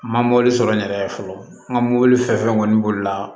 N ma mɔbili sɔrɔ n yɛrɛ ye fɔlɔ n ka mobili fɛn fɛn kɔni boli la